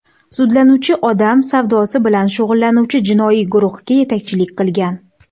Sudlanuvchi odam savdosi bilan shug‘ullanuvchi jinoiy guruhga yetakchilik qilgan.